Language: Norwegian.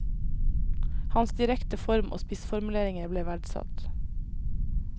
Hans direkte form og spissformuleringer ble verdsatt.